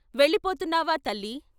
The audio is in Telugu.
వెళ్ళిపోతు న్నావా తల్లీ....